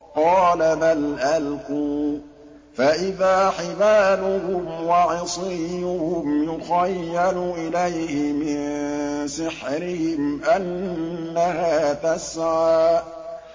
قَالَ بَلْ أَلْقُوا ۖ فَإِذَا حِبَالُهُمْ وَعِصِيُّهُمْ يُخَيَّلُ إِلَيْهِ مِن سِحْرِهِمْ أَنَّهَا تَسْعَىٰ